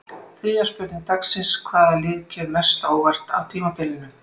Þriðja spurning dagsins: Hvaða lið kemur mest á óvart á tímabilinu?